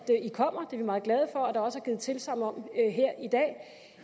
kommer det er vi meget glade for at der også er givet tilsagn om her i dag